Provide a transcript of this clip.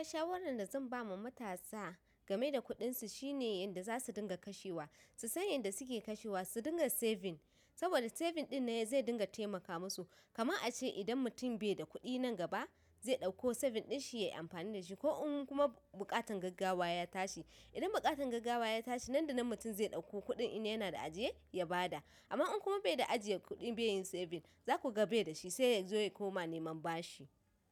Shawaran da zan ba ma matasa gameda kudinsu shine yanda zasu dinga kashewa, su san yanda suke kashewa, su dinga saving. Saboda saving dinnan zai dinga taimaka musu. Kaman a ce mutum idan bai da kuɗin nan gaba, zai ɗauko saving din shi yayi amfani dashi. Ko in kuma buƙatan gaggawa ya tashi, idan buƙatan gaggawa ya tashi nan da nan mutum zai ɗauko kuɗin in yana da ajiye ya bada. Amma in kuma bai da ajiye kuɗi bai yin saving za ku ga bai da shi sai yazo ya koma neman bashi.